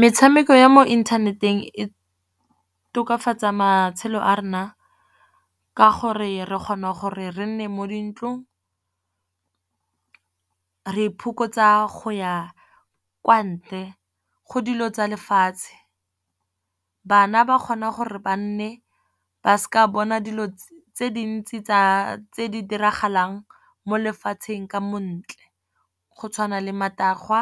Metshameko ya mo inthaneteng e tokafatsa matshelo a rona ka gore re kgona gore re nne mo dintlong. Re iphokotsa go ya kwa ntle, go dilo tsa lefatshe. Bana ba kgona gore ba nne ba seka bona dilo tse dintsi tse di diragalang mo lefatsheng ka montle, go tshwana le matagwa,